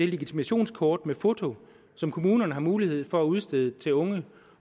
legitimationskort med foto som kommunerne har mulighed for at udstede til unge